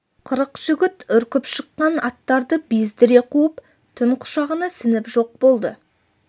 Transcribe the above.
қырық жігіт үркіп шыққан аттарды бездіре қуып түн құшағына сіңіп жоқ болды